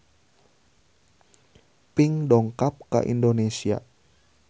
Pink dongkap ka Indonesia